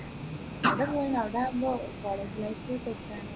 അവിടെ പോവനു അവിടെയാവുമ്പോ college life set ആണ്